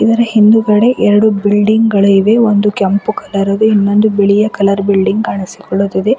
ಇದರ ಹಿಂದುಗಡೆ ಎರಡು ಬಿಲ್ಡಿಂಗ್ ಗಳು ಇವೆ ಕೆಂಪು ಕಲರ್ ದು ಇನ್ನೊಂದು ಬಿಳಿ ಕಲರ್ ಬಿಲ್ಡಿಂಗ್ ಕಾಣಿಸಿಕೊಳುತ್ತಿದೆ.